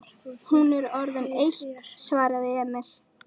Hún er orðin eitt, svaraði Emil.